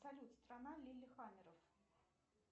салют страна лили хамеров